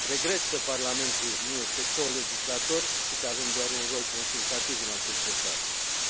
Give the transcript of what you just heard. Regret că Parlamentul nu este colegislator și că avem doar un rol consultativ în acest dosar.